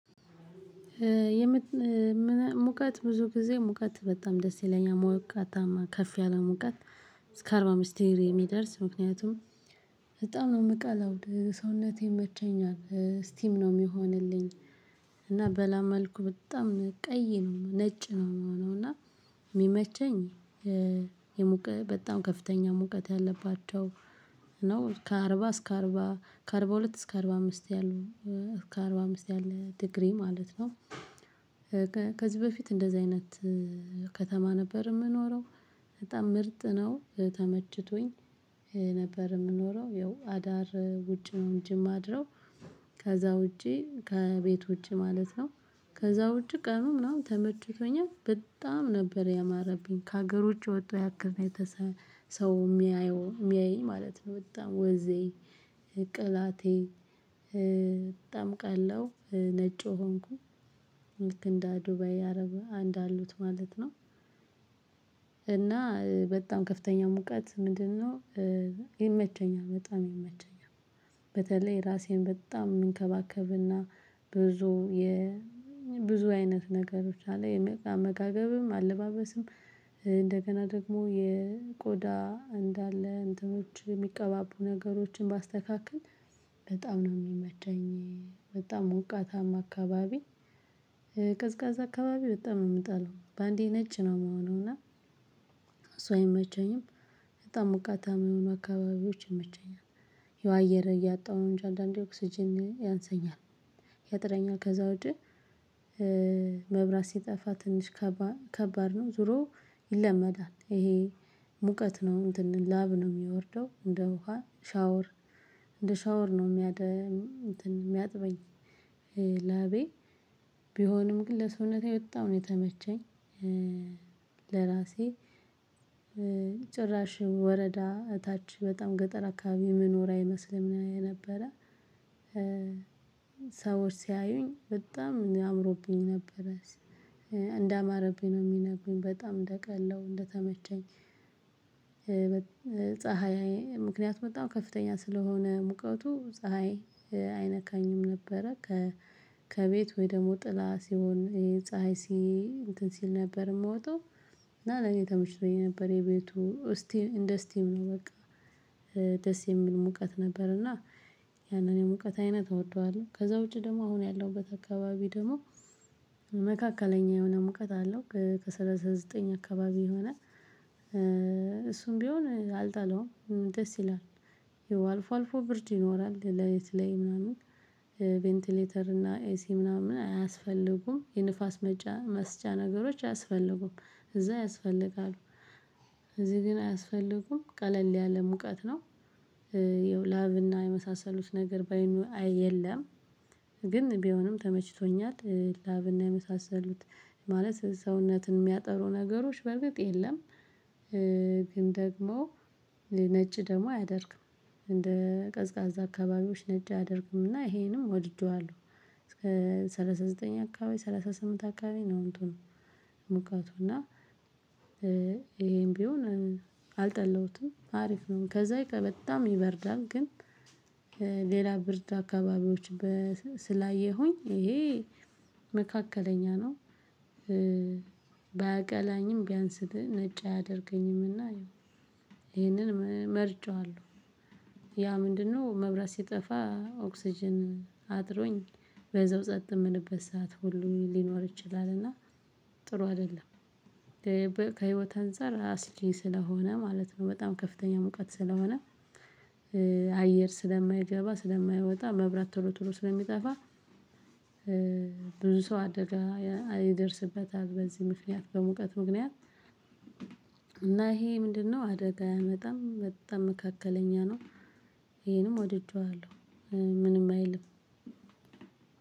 ሙቀት ብዙ ጊዜ ሙቀት በጣም ደስ ይለኛል ሞቃታማ ከፍ ያለ ሙቀት እስከ አርባ ምስጢር የሚደርስ ምክንያቱም በጣም ነው የምቀላውድ ሰውነቴን መቼኛል ስቲም ነው የሚሆንልኝ። እና በላ መልኩ በጣም ቀይ ነው ነጭ ነው የሚሆነው እና የሚመቸኝ በጣም ከፍተኛ ሙቀት ያለባቸው ነው ከአርባ እስከ አርባ ከአርባ ሁለት እስከ አርባ አምስት ያሉ እስከ አርባ አምስት ያሉ ዲግሪ ማለት ነው። ከዚህ በፊት እንደዚህ አይነት ከተማ ነበር የምኖረው በጣም ምርጥ ነው ተመችቶኝ ነበር የምኖረው ያው አዳር ውጭ ነው እንጂ ማድረው። ውጪ ከቤቶቼ ማለት ነው ከዛ ውጪ ቀኑ ምናምን ተመችቶኛል በጣም ነበር ያማረብኝ ከሀገሮች ወጥቶ ያከዛቸው። ሰው የሚያየው የሚያየኝ ማለት ነው በጣም ወዜ ቅላቴ በጣም ቀላው ነጩ ሆንኩኝ እንደ ዱባይ አረብ አንድ አሉት ማለት ነው። እና በጣም ከፍተኛ ሙቀት ምንድነው ይመቸኛል በጣም ይመቸኛል በተለይ ራሴን በጣም የምንከባከብና ብዙ የብዙ አይነት ነገሮች አሉ የአመጋገብም አለባበስም እንደገና ደግሞ የቆዳ እንዳለ እንትኖች የሚቀባቡ ነገሮችን ባስተካክል በጣም ነው የሚመቸኝ በጣም ሞቃታማ አካባቢ አካባቢ በጣም የሚጣለው በአንዴ ነጭ ነው የምሆነው እና እሱ አይመቸኝም በጣም ሞቃታማ የሆኑ አካባቢዎች ይመቸኛል የዋየረ እያጣሁ እንጂ አንዳንዴ ኦክስጅን ያንሰኛል ያጥረኛል ከዛ ወዲህ መብራት ሲጠፋ ትንሽ ከባድ ነው ዙሮ ይለመዳል ይሄ ሙቀት ነው እንትን ላብ ነው የሚወርደው እንደ ውሃ ሻወር እንደ ሻወር ነው የሚያደም እንትን የሚያጥበኝ። ላቤ ቢሆንም ግን ለሰውነቴ ወጣሁ ነው የተመቸኝ ለራሴ ጭራሽ ወረዳ እታች በጣም ገጠር አካባቢ መኖር አይመስልም ነበረ ሰዎች ሲያዩኝ በጣም እኔ አምሮብኝ ነበረ እንዳማረብኝ ነው የሚነግሩኝ በጣም እንደቀላው እንደተመቸኝ። ፀሀይ ምክንያት በጣም ከፍተኛ ስለሆነ ሙቀቱ ፀሀይ አይነካኝም ነበረ። ከ ከቤት ወይ ደግሞ ጥላ ሲሆን የፀሀይ ሲ እንትን ሲል ነበር የምወጣው እና ለኔ ተመችቶኝ የነበረኝ የቤቱ እስቲ እንደ ስቲም ነው በቃ። ደስ የሚል ሙቀት ነበር እና ያንን የሙቀት አይነት እወደዋለሁ ከዛ ውጪ ደግሞ አሁን ያለውበት አካባቢ ደግሞ መካከለኛ የሆነ ሙቀት አለው ከሠላሳ ዘጠኝ አካባቢ የሆነ እሱም ቢሆን አልጣለውም ደስ ይላል ይው አልፎ አልፎ ብርድ ይኖራል ለሊት ላይ ምናምን ቬንቲሌተር እና ኤሲ ምናምን አያስፈልጉም የንፋስ መጫ መስጫ ነገሮች አያስፈልጉም እዛ ያስፈልጋሉ እዚህ ግን አያስፈልጉም ቀለል ያለ ሙቀት ነው። ይኸው ላብ እና የመሳሰሉት ነገር ባይ የለም። ግን ቢሆንም ተመችቶኛል ላብና የመሳሰሉት ማለት ሰውነትን የሚያጠሩ ነገሮች በርግጥ የለም። ግን ደግሞ ነጭ ደግሞ አያደርግም። እንደ ቀዝቃዛ አካባቢዎች ነጭ አደርግምና ይሄንም ወድደዋለሁ እስከ ሰላሳ ዘጠኝ አካባቢ ሰላሳ ስምንት አካባቢ ነው እንትኑ ሙቀቱ እና ይሄም ቢሆን አልጠላሁትም አሪፍ ነው ከዛ በጣም ይበርዳል ግን ሌላ ብርድ አካባቢዎች በ ስላየሁኝ ይሄ መካከለኛ ነው። ባያቀላኝም ቢያንስ ግን ነጭ አያደርገኝምና ይሄንን መርጬዋለሁ ያ ምንድነው መብራት ሲጠፋ ኦክስጅን አጥሮኝ በዛው ጸጥ ምልበት ሰዓት ሁሉ ሊኖር ይችላል እና ጥሩ አይደለም ከህይወት አንፃር አስጊ ስለሆነ ማለት ነው በጣም ከፍተኛ ሙቀት ስለሆነ አየር ስለማይገባ ስለማይወጣ መብራት ቶሎ ቶሎ ስለሚጠፋ። ብዙ ሰው አደጋ ይደርስበታል በዚህ ምክንያት በሙቀት ምክንያት። እና ይሄ ምንድነው አደጋ ኣያመጣም በጣም መካከለኛ ነው ወደድኩት ምንም አይልም።